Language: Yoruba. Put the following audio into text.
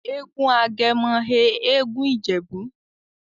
egún Agemo he egún ijebu'.